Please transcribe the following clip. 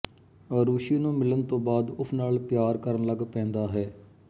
ਅਰੂਸ਼ੀ ਨੂੰ ਮਿਲਣ ਤੋਂ ਬਾਅਦ ਉਸ ਨਾਲ ਪਯਾਰ ਕਰਨ ਲੱਗ ਪੇਂਦਾ ਹੈ